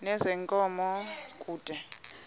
nezenkunzi yenkomo kude